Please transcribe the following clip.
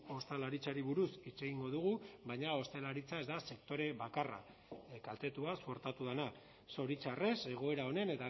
ostalaritzari buruz hitz egingo dugu baina ostalaritza ez da sektore bakarra kaltetua suertatu dena zoritxarrez egoera honen